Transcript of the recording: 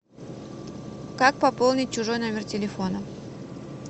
как пополнить чужой номер телефона